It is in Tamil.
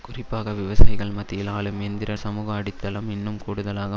குறிப்பாக விவசாயிகள் மத்தியில் ஆளும் எந்திர சமூகஅடித்தளம் இன்னும் கூடுதலாக